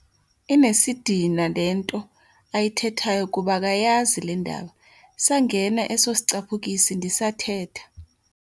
Inesidina le nto ayithethayo kuba akayazi le ndaba. sangena eso sicaphukisi ndisathetha